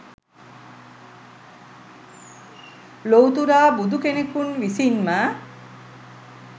ලොව්තුරා බුදු කෙනකුන් විසින්ම